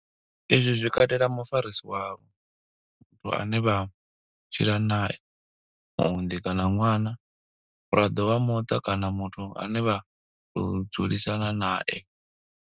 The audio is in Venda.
Izwi zwi katela mufarisi wavho, muthu ane vha tshila nae, muunḓi kana ṅwana, muraḓo wa muṱa kana muthu ane vha tou dzulisana nae.